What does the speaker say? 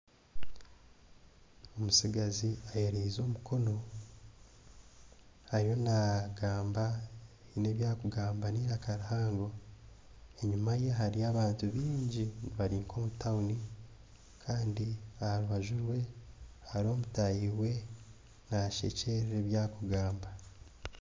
Omutsigazi ayemerize omukono haine ebi arikugamba niraka rihango, enyima ye hariyo abantu bingi bari nk'omu tawuni Kandi aha rubaju rwe hariho mutaahi we namushekyerera ebi arikugamba.